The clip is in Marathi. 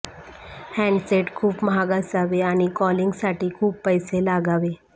हँडसेट खूप महाग असावे आणि कॉलिंगसाठी खूप पैसे लागावे